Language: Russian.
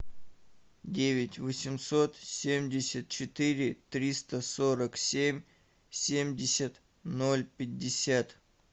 девять восемьсот семьдесят четыре триста сорок семь семьдесят ноль пятьдесят